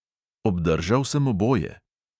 Obdržal sem oboje.